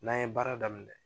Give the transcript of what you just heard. N'an ye baara daminɛ